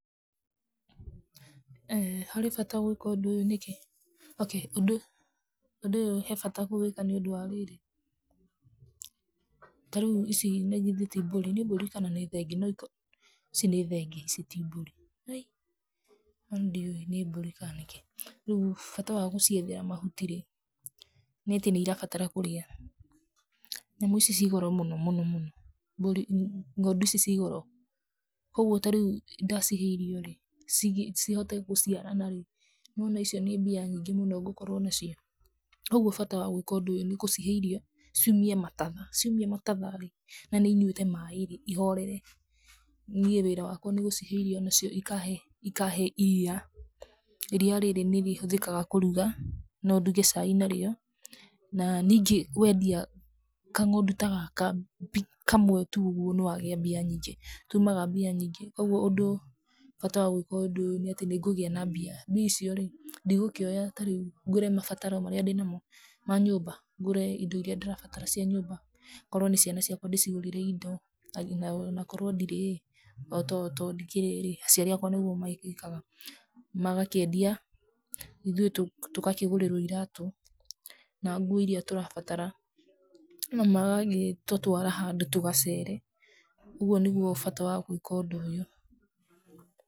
Harĩ bata wa gwĩka ũndũ ũyũ nĩkĩ? Ok, ũndũ, ũndũ ũyũ he bata kũwĩka nĩ ũndũ rĩrĩ, ta rĩu ici ĩĩ ti mbũri?, Nĩ mbũrĩ kana nĩ thenge? Nĩ mbũri, ici nĩ thenge ici ti mbũri. Aii niĩ ndiũĩ kana nĩ mbũri kana thenge rĩu bata wa gũciethera mahuti, nĩ atĩ nĩ cirabatara kũrĩa. Nyamũ ici ciĩ goro mũno mũno mũno, ng'ondu ici ciĩ goro ũguo ta rĩu ndacihe irio rĩ, cihote gũciarana rĩu, nona icio nĩ mbia nyungĩ mũno ngũkorũo nacio. Uguo bata wa gwĩka ũndũ ũyũ nĩ gũcihe irio ciumie matatha, ciaumia matatha rĩ, na nĩ inyuĩte maaĩ rĩ, cihorere. Niĩ wĩra wakwa nĩ gũcihe irio nacio cikahe iria. Fria rĩrĩ nĩ rĩhũthĩkaga kũruga no nduge cai narĩo na nyingĩ wendia kang'ondu ta gaka kamwe tu ũgwo nĩ wagĩa mbia nyingĩ tumaga mbia nyingĩ kogwo ũndũ ũyũ, bata wa gwĩka ũndũ ũyũ nĩ atĩ nĩ ngũgia na mbia. Mbia icio rĩ, ndigũkĩoya ngũre mabataro marĩa ndĩ namo ma nyũmba ngũre indo iria ndĩrabatara cia nyũmba. Korũo nĩ ciana ciakwa ndĩcigũrĩre indo na korwo ndirĩ rĩ to ndikĩrĩ rĩ aciari akwa nĩguo magĩkaga magakĩendia ithuĩ tũgakĩgũrĩrwo iratũ na nguo iria tũrabatara na magagĩtũtwara handũ tũgagĩcere, ũguo nĩ gwo bata wa gwĩka ũndũ ũyũ.